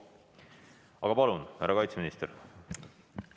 Aga palun, härra kaitseminister!